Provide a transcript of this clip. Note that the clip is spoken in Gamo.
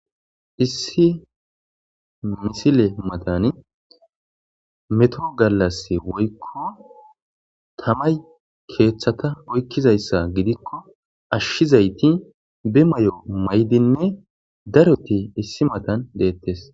issi misile matani metoro gallas woykko tamay keeththata oykkizayssa gidikko ashshizayti be may7o maydinne daroti issi matan deettes